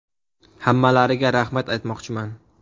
Hammalariga rahmat aytmoqchiman.